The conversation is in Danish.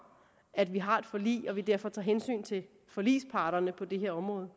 at vi har et forlig og derfor tager hensyn til forligsparterne på det her område